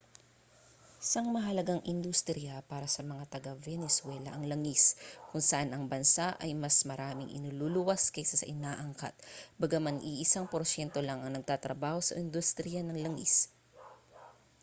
isang mahalagang industriya para sa mga taga-venezuela ang langis kung saan ang bansa ay mas maraming inululuwas kaysa sa inaangkat bagaman iisang porsyento lang ang nagtatrabaho sa industriya ng langis